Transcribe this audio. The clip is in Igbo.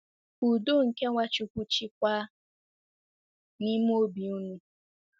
Ka udo nke Nwachukwu chịkwaa n’ime obi unu.